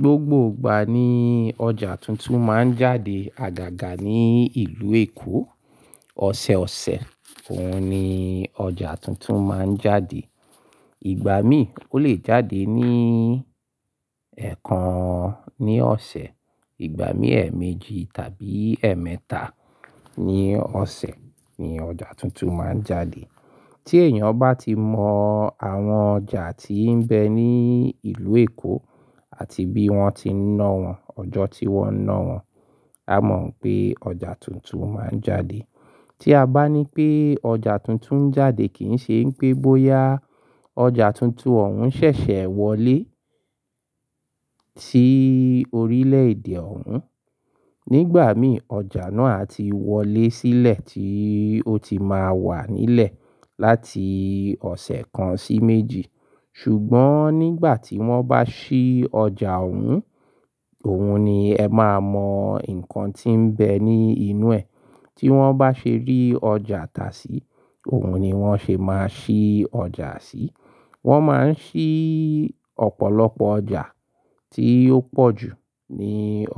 Gbogbo ìgbà ni ọjà tuntun máa ń jáde àgàgà ní ìlú Èkó. Ọ̀sẹ̀ ọ̀sẹ̀ òun ni ọjà tuntun máa ń jáde. Ìgbà mí, ó lè jáde ní ẹẹkan ní ọ̀sẹ̀, ìgbà mí ẹẹ̀méjì tàbí ẹ̀ẹ̀mẹ́ta ní ọ̀sẹ̀ ni ọjà tuntun máa ń jáde. Tí èèyàn bá ti mọ àwọn ọjà tí ń bẹ ní ìlú Èkó àti bí wọ́n ti ń ná wọn, ọjọ́ tí wọ́n ń ná wọn, a mọ̀ pé ọjà tuntun máa ń jáde. Tí a bá ní pé ọjà tuntun ń jáde kì í ṣe ń pé bóyá ọjà tuntun ọ̀hún ṣẹ̀ṣẹ̀ wọlé sí orílẹ̀ èdè ọ̀hún. Nígbà mí ọjà náà ti wọlé sílẹ̀ tí ó ti máa wà nílẹ̀ láti ọ̀sẹ̀ kan sí méjì. Ṣùgbọ́n nígbà tí wọ́n bá ṣí ọjà ọ̀hún, òun ni ẹ máa mọ nǹkan tí ń bẹ ní inú ẹ̀. Tí wọ́n bá ṣe rí ọjà tà sí, òun ni wọ́n ṣì máa ṣí ọjà sí. Wọ́n máa ń ṣí ọ̀pọ̀lọpọ̀ ọjà tí ó pọ̀ jù ní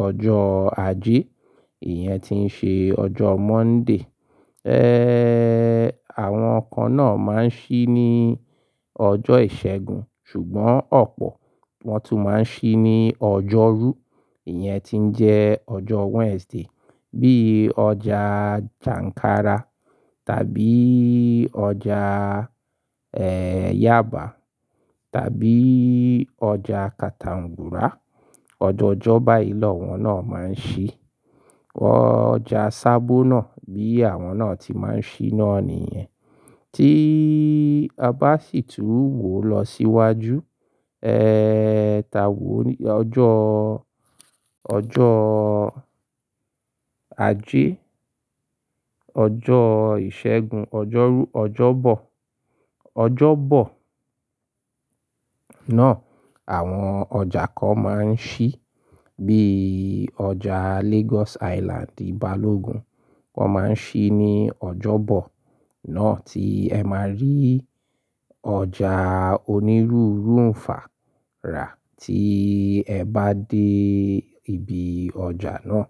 ọjọ́ ajé, ìyẹn ti ń ṣe ọjọ́ Monday. Àwọn kan náà máa ń ṣí ní ọjọ́ ìṣẹ́gun, ṣùgbọ́n ọ̀pọ̀ wọn tún máa ń ṣí ní ọjọ́rú, ìyẹn ti ń jẹ́ ọjọ́ Wednesday. Bíi ọjà Jàǹkára tàbí ọjà Yaba tàbí ọjà Katangura. Ọjọ́ ọjọ́báìlọ́ wọn náà máa ń ṣí. Ọjà sábónà bí àwọn náà tí máa ń ṣí náà nìyẹn. Tí a bá sì tún wò lọ síwájú, ta wò ní ọjọ́, ọjọ́ ajé, ọjọ́ ìṣẹ́gun, ọjọ́rú, ọjọ́bọ̀. Ọjọ́bọ̀ náà àwọn ọjà kan máa ń ṣí bíi ọjà Lagos Island Balogun. Wọ́n máa ń ṣí ní ọjọ́bọ̀ náà tí ẹ máa rí ọjà onírúurú ń fà rà tí ẹ bá dé ibi ọjà náà.